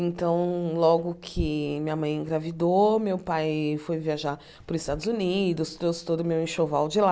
Então, logo que minha mãe engravidou, meu pai foi viajar para os Estados Unidos, trouxe todo o meu enxoval de lá.